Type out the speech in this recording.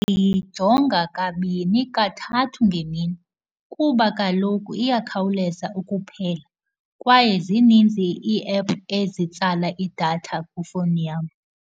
Ndiyijonga kabini kathathu ngemini kuba kaloku iyakhawuleza ukuphela, kwaye zininzi ii-app ezitsala idatha kwifowuni yam.